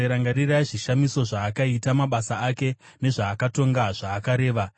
Rangarirai zvishamiso zvaakaita, mabasa ake, nezvaakatonga zvaakareva,